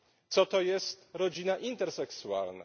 Co to jest rodzina interseksualna?